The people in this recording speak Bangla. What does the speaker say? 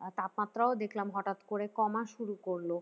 আহ তাপমাত্রা ও দেখলাম হঠাৎ করে কমা শুরু করলো,